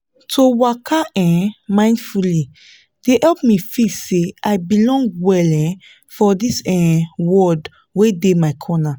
to waka um mindfully dey help me feel say i belong well um for this um world wey dey my corner